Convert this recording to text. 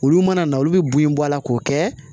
Olu mana na olu bɛ bon in bɔ a la k'o kɛ